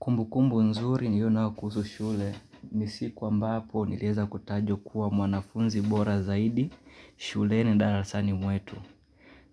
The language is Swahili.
Kumbukumbu nzuri niliyo nayo kuhusu shule ni siku ambapo nilieza kutajwa kuwa mwanafunzi bora zaidi shuleni darasani mwetu.